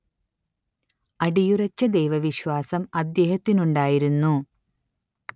അടിയുറച്ച ദൈവവിശ്വാസം അദ്ദേഹത്തിനുണ്ടായിരുന്നു